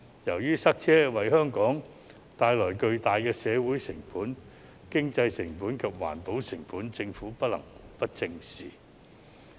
由於塞車為香港帶來巨大的社會成本、經濟成本及環保成本，政府不能不正視。